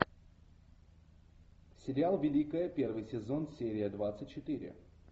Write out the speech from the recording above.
сериал великая первый сезон серия двадцать четыре